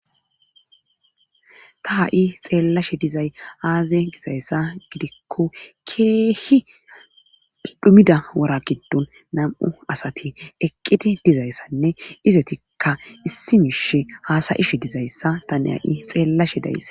ta ha7i xeellashe dizay aaze gisayssa gidikko keehi ddhumida wora giddon nam7u asati eqqidi dizayssanne izetikka issi mishe haasayishe dizayssa tane ha7i xeellashe dayssa